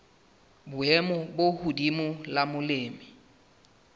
boemo bo hodimo la molemi